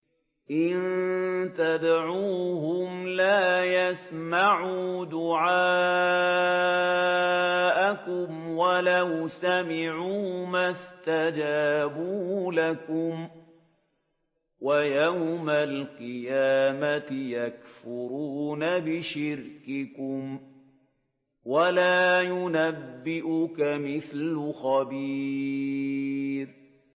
إِن تَدْعُوهُمْ لَا يَسْمَعُوا دُعَاءَكُمْ وَلَوْ سَمِعُوا مَا اسْتَجَابُوا لَكُمْ ۖ وَيَوْمَ الْقِيَامَةِ يَكْفُرُونَ بِشِرْكِكُمْ ۚ وَلَا يُنَبِّئُكَ مِثْلُ خَبِيرٍ